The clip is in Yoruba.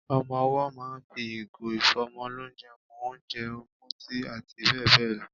Ọmọ owọ́ ma ń fi ìgò ìfọ́mọlónjẹ mu ónjẹ, omi, tíì àti bẹ́ẹ̀ bẹ́ẹ̀ lọ.